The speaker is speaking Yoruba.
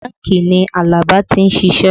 Bánkì ni Alaba ti ń ṣiṣẹ́